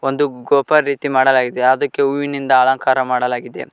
ಒಂದು ಗೋಪರ ರೀತಿ ಮಾಡಲಾಗಿದೆ ಅದಕ್ಕೆ ಹೂವಿನಿಂದ ಅಲಂಕಾರ ಮಾಡಲಾಗಿದೆ.